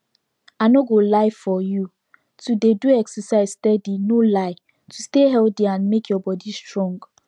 i no go lie for you to dey do exercise steady no lie to stay healthy and make your body strong